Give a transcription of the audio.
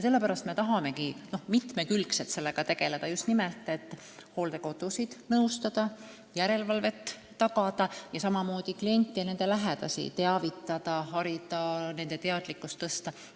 Sellepärast me tahamegi sellega mitmekülgselt tegelda – just nimelt hooldekodusid nõustada, järelevalvet tagada, kliente ja nende lähedasi teavitada, harida, nende teadlikkust tõsta.